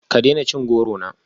Ka daina cin goro na